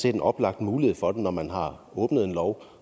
en oplagt mulighed for det når man har åbnet en lov